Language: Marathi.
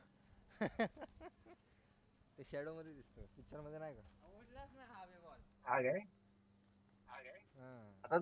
ते shadow मध्ये दिसत picture मध्ये नाही काय